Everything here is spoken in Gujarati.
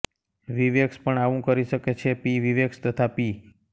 વિવેક્સ પણ આવું કરી શકે છે પી વિવેક્સ તથા પી